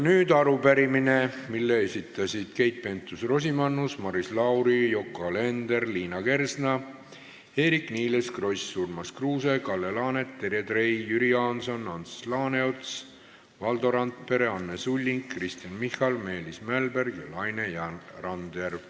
Nüüd arupärimine, mille on esitanud Keit Pentus-Rosimannus, Maris Lauri, Yoko Alender, Liina Kersna, Eerik-Niiles Kross, Urmas Kruuse, Kalle Laanet, Terje Trei, Jüri Jaanson, Ants Laaneots, Valdo Randpere, Anne Sulling, Kristen Michal, Meelis Mälberg ja Laine Randjärv.